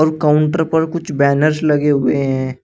और काउंटर पर कुछ बैनर्स लगे हुए हैं।